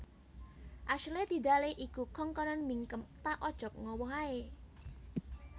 Ashley Tidale iku kongkonen mingkem ta ojok ngowoh ae